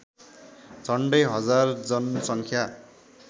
झन्डै हजार जनसङ्ख्या